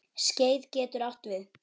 Skeið getur átt við